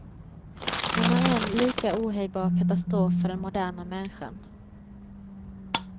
Den är en lika ohejdbar katastrof för den moderna människan.